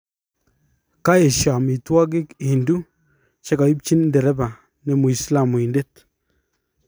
kaisho amitwagi Hindu chegaipchin ndereba ne muislamuindet